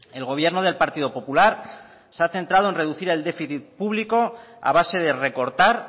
el gobierno del partido popular se ha centrado en reducir el déficit público a base de recortar